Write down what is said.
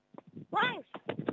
мәңіз